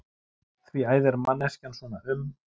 Því æðir manneskjan svona um?